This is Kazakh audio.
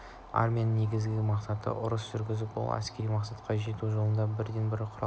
армияның негізгі мақсаты ұрыс жүргізу бұл әскери мақсатқа жету жолындағы бірден-бір құрал